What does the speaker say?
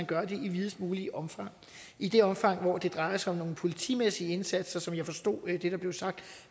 gøre det i videst muligt omfang i det omfang hvor det drejer sig om nogle politimæssige indsatser sådan forstod jeg det blev sagt